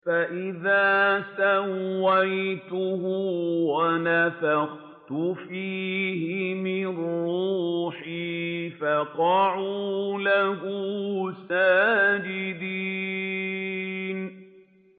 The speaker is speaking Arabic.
فَإِذَا سَوَّيْتُهُ وَنَفَخْتُ فِيهِ مِن رُّوحِي فَقَعُوا لَهُ سَاجِدِينَ